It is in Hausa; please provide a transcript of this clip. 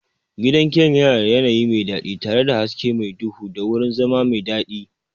Gidan giyan yana da yanayi mai daɗi tare da hasken mar duhu da wurin zama mai daɗi.